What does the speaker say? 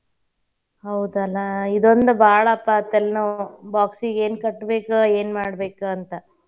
ಹೌದಲಾ ಇದೋಂದ್ ಬಾಳಪ್ಪ ತಲೆನೋವ್ box ಗೆ ಏನ್ ಕಟ್ಬೇಕ್ ಏನ್ ಮಾಡ್ಬೇಕಂತ.